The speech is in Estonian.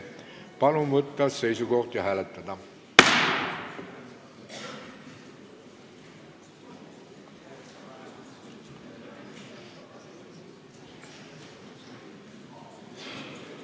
Palun võtta seisukoht ja hääletada!